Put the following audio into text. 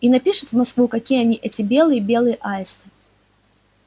и напишет в москву какие они эти белые белые аисты